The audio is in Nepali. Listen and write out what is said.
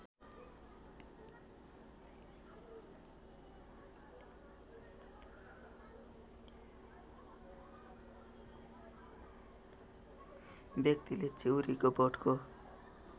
व्यक्तिले चिउरीको बोटको